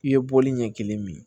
I ye bɔli ɲɛ kelen min